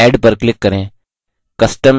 add पर click करें